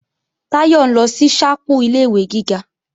Táyọ̀ ń lọ sí ṣápù ilé-ìwé gíga